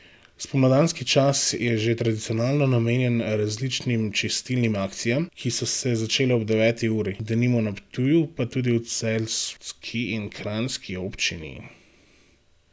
Spomladanski čas je že tradicionalno namenjen različnim čistilnim akcijam, ki so se začele ob deveti uri, denimo na Ptuju, pa tudi v celjski in kranjski občini.